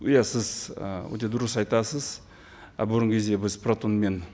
иә сіз ы өте дұрыс айтасыз ы бұрынғы кезде біз протонмен